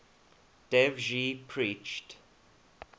dev ji preached